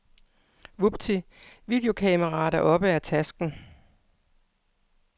Vupti, videokameraet er oppe af tasken.